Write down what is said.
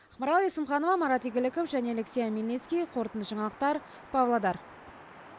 ақмарал есімханова марат игіліков және алексей омельницкий қорытынды жаңалықтар павлодар